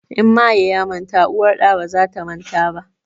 In maye ya manta uwar ɗa baza ta manta ba